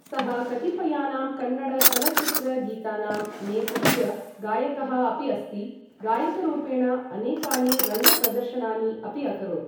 सः कतिपयानां कन्नड चलच्चित्र गीतानां नेपथ्य गायकः अपि अस्ति, गायकरूपेण अनेकानि रङ्ग प्रदर्शनानि अपि अकरोत्।